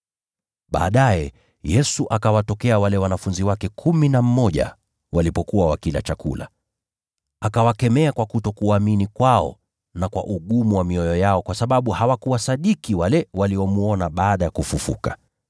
Baadaye Yesu akawatokea wale wanafunzi kumi na mmoja walipokuwa wakila chakula. Akawakemea kwa kutoamini kwao na kwa ugumu wa mioyo yao kwa kutosadiki wale waliomwona baada yake kufufuka.